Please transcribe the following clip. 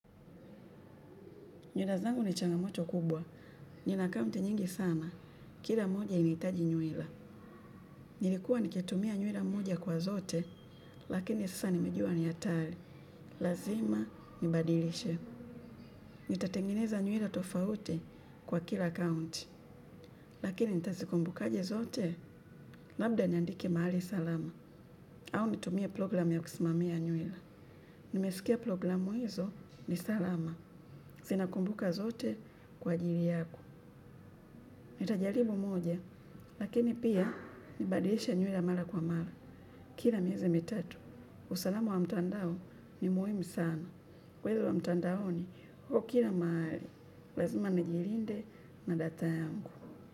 Nywila zangu ni changamoto kubwa. Nina akaunti nyingi sana. Kira moja inaitaji nywila. Nilikuwa nikitumia nyuila moja kwa zote, lakini sasa nimejua ni hatari. Lazima nibadilishe. Nitatengeneza nywila tofauti kwa kila akaunti. Lakini nitazikumbuka je zote? Labda niandike mahali salama. Au nitumie program ya kusimamia nywila. Nimesikia programu hizo ni salama. Zinakumbuka zote kwa ajiri yako. Nitajaribu moja, lakini pia nibadilishe nywila mara kwa mara, kila miezi mitatu. Usalama wa mtandao ni muhimu sana. Wezi wa mtandaoni huwa kira mahali, lazima najirinde na data yangu.